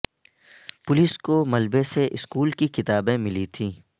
police کو ملبے سے سکول کی کتابیں ملی تھیں